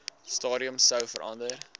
stadium sou verander